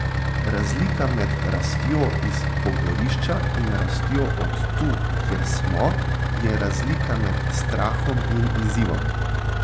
Razlika med rastjo iz pogorišča in rastjo od tu, kjer smo, je razlika med strahom in izzivom.